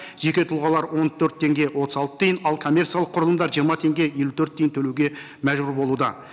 жеке тұлғалар он төрт теңге отыз алты тиын ал коммерциялық құрылымдар жиырма теңге елу төрт тиын төлеуге мәжбүр болуда